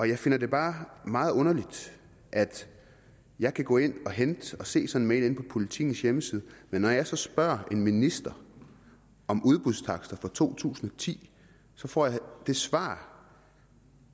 jeg finder det bare meget underligt at jeg kan gå ind og hente og se sådan en mail på politikens hjemmeside men når jeg så spørger en minister om udbudstakster for to tusind og ti får jeg det svar